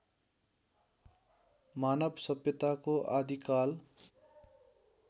मानव सभ्यताको आदिकाल